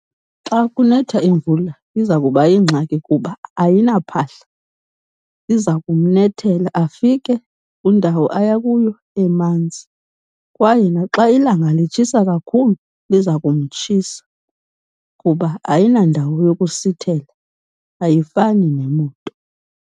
Xa kunetha imvula iza kuba yingxaki kuba ayinaphahla. Iza kumnethela, afike kwindawo aya kuyo emanzi. Kwaye naxa ilanga litshisa kakhulu liza kumtshisa kuba ayinandawo yokusithela, ayifani nemoto.